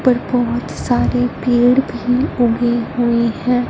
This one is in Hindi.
पर बहोत सारे पेड़ भी ऊगे हुए हैं।